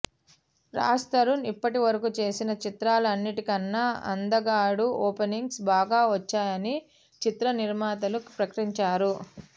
రాజ్ తరుణ్ ఇప్పటివరకు చేసిన చిత్రాల అన్నిటికన్నా అంధగాడు ఓపెనింగ్స్ బాగా వచ్చాయని చిత్ర నిర్మాతలు ప్రకటించారు